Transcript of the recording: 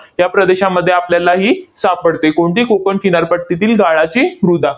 या प्रदेशामध्ये आपल्याला ही सापडते. कोणती? कोकण किनारपट्टीतील गाळाची मृदा.